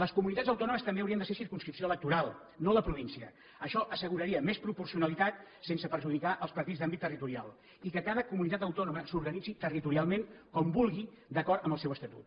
les comunitats autònomes també haurien de ser circumscripció electoral no la província això asseguraria més proporcionalitat sense perjudicar els partits d’àmbit territorial i que cada comunitat autònoma s’organitzi territorialment com vulgui d’acord amb el seu estatut